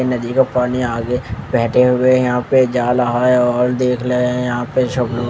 नदी का पानी आगे बेहते हुए यहाँ पे जा रहा है और देख रहे है यहाँ पे सब लोंग --